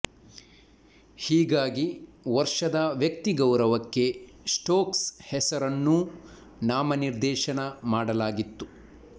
ಹೀಗಾಗಿ ವರ್ಷದ ವ್ಯಕ್ತಿ ಗೌರವಕ್ಕೆ ಸ್ಟೋಕ್ಸ್ ಹೆಸರನ್ನೂ ನಾಮನಿರ್ದೇಶನ ಮಾಡಲಾಗಿತ್ತು